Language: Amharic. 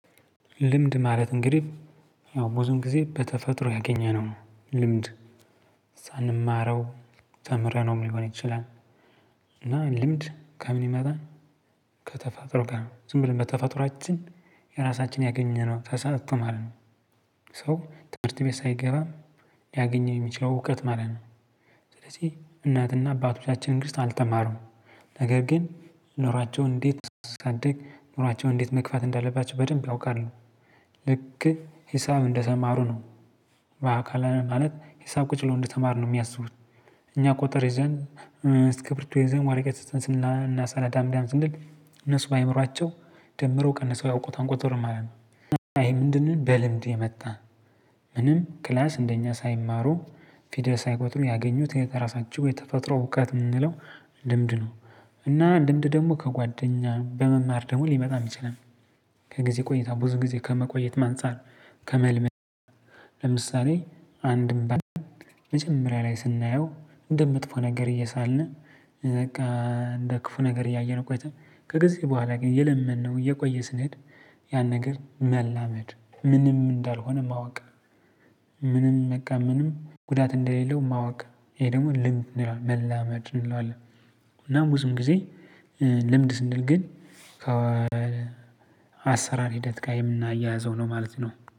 ልምድ ማለት እንግዲህ ያው ብዙም ጊዜ በተፈጥሮ ያገኘነው ነው ልምድ ሳንማረው ተምረነው ሊሆን ይችላል። እና ልምድ ከምን ይመጣል ከተፈጥሮ ጋር ዝም ብለን በተፋጥሮአችን የራሳችን ያገኘነው ተሳትቶ ማለት ነው። ሰው ትምህርት ቤት ሳይገባ ያገኘው የሚችለው እውቀት ማለት ነው። ስለዚህ እናትና አባቶቻችን እንግዲህ አልተማሩም ነገር ግን ኖራቸውን እንዴት እስካደግ ኖራቸውን እንዴት መክፋት እንዳለባቸው በደንብ ያውቃሉ። ልክ ሂሳብ እንደተማሩ ነው። በአካል ማለት ሂሳብ ቁጭ ብሎ እንደተማሩ ነው የሚያስቡት። እኛ ቁጥር ይዘን እስኪርቢቶ ይዘን ወረቀት ይዘን ስናሰናዳ ስንል እነሱ በአእምሯቸው ደምረው ቀንሰው ያውቁታል ቁጥሩን ማለት ነው። እና ይሄ ምንድነው? በልምድ የመጣ። ምንም ክላስ እንደኛ ሳይማሩ ፊደል ሳይቆጥሩ ያገኙት የተራሳችሁ የተፈጥሮ እውቀት የምንለው ልምድ ነው። እና ልምድ ደግሞ ከጓደኛ በመማር ደግሞ ሊመጣ ይችላል። ከጊዜ ቆይታ ብዙ ጊዜ ከመቆየትም አንፃር ከመልመድ። ለምሳሌ አንድም በአንድ መጀመሪያ ላይ ስናየው እንደ መጥፎ ነገር እየሳልን በቃ እንደ ክፉ ነገር እያየን ቆይተን ከጊዜ በኋላ ግን እየለመድነው እየቆየ ስንሄድ። ያን ነገር መላመድ ምንም እንዳልሆነ ማወቅ። ምንም በቃ ምንም ጉዳት እንደሌለው ማወቅ። ይሄ ደግሞ ልምድ እንላለን መላመድ እንለዋለን። እና ብዙም ጊዜ ልምድ ስንል ግን ከአሰራር ሂደት ጋር የምናያይዘው ነው ማለት ነው